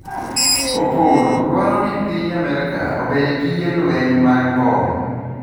opolo dwaro ni piny Amerka ober gige lweny mag mbom